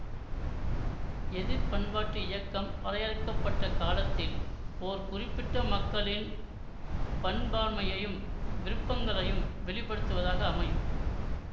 எதிர் பண்பாட்டு இயக்கம் வரையறுக்க பட்ட காலத்தில் ஓர் குறிப்பிட்ட மக்களின் பண்பாண்மையையும் விருப்பங்களையும் வெளிப்படுத்துவதாக அமையும்